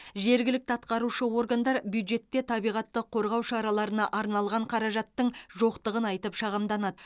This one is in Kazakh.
жергілікті атқарушы органдар бюджетте табиғатты қорғау шараларына арналған қаражаттың жоқтығын айтып шағымданады